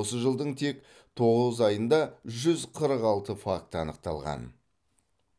осы жылдың тек тоғыз айында жүз қырық алты факті анықталған